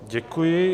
Děkuji.